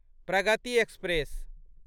Pragati express